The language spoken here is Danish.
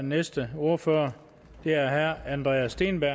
næste ordfører er herre andreas steenberg